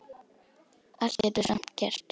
Allt getur samt gerst.